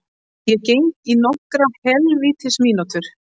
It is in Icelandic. Ég geng í nokkrar hel vítis mínútur.